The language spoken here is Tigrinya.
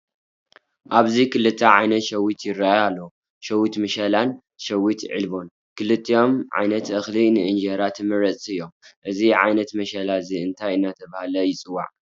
ኣብዚ ክልተ ዓይነት ሸዊት ይራኣዩ ኣለው፣ ሸዊት መሸላን ሸዊት ዒለቦን፡፡ ክልቲኦም ዓይነት እኽሊ ንእንጀራ ተመረፅቲ እዮም፡፡ እዚ ዓይነት መሸላ እዚ እንታይ እናተባህለ ይፅዋዕ?